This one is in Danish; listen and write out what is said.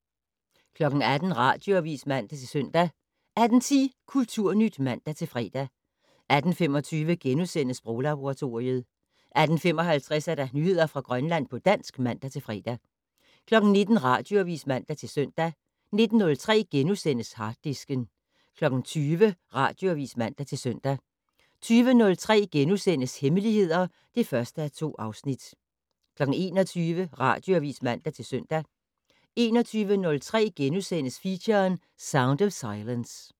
18:00: Radioavis (man-søn) 18:10: Kulturnyt (man-fre) 18:25: Sproglaboratoriet * 18:55: Nyheder fra Grønland på dansk (man-fre) 19:00: Radioavis (man-søn) 19:03: Harddisken * 20:00: Radioavis (man-søn) 20:03: Hemmeligheder (1:2)* 21:00: Radioavis (man-søn) 21:03: Feature: Sound of silence *